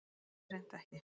Svo er hreint ekki